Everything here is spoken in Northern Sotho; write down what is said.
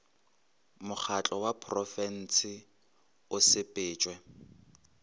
mokgatlo wa porofensi o sepetšwe